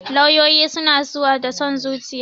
Lauyoyi suna zuwa da son zuciya